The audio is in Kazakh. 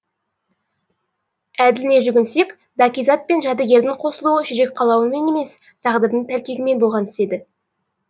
әділіне жүгінсек бәкизат пен жәдігердің қосылуы жүрек қалауымен емес тағдырдың тәлкегімен болған іс еді